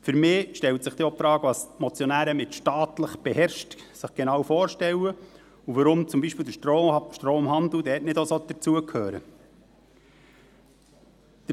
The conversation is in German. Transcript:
Für mich stellt sich denn auch die Frage, was sich die Motionäre unter «staatlich beherrscht» genau vorstellen und weshalb zum Beispiel der Stromhandel dort nicht auch dazugehören soll.